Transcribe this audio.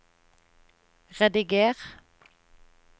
rediger